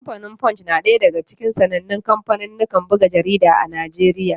Kamfanin Punch na ɗaya daga cikin sanannen kanfanin jarida a Najeriya.